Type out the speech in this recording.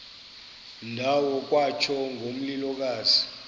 ndawo kwatsho ngomlilokazi